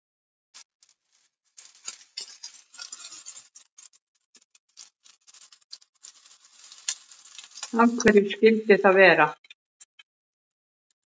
Af hverju skyldi það vera?